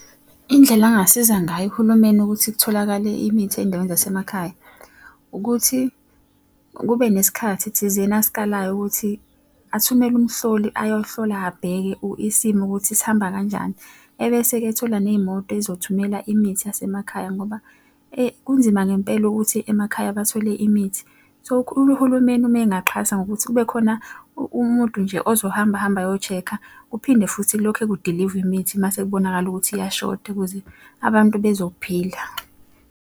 Indlela angingasiza ngayo uhulumeni ukuthi kutholakale imithi ey'ndaweni zasemakhaya, ukuthi kube nesikhathi thizeni asikalayo ukuthi athumele umhloli ayohlola abheke isimo ukuthi sihamba kanjani, ebese-ke ethola ney'moto ey'zothumela imithi yasemakhaya ngoba kunzima ngempela ukuthi emakhaya bathole imithi. So uhulumeni uma engaxhasa ngokuthi kube khona umuntu nje ozohamba ahamba ayo-check-a, kuphinde futhi lokhe kudilivwa imithi uma sekubonakala ukuthi iyashoda ukuze abantu bezophila.